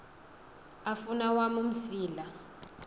afun awam umsila